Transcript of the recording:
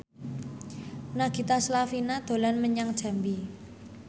Nagita Slavina dolan menyang Jambi